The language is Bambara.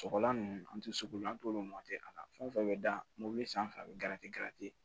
Sɔgɔlan ninnu an tɛ sugu an t'olu a la fɛn o fɛn bɛ da mobili sanfɛ a bɛ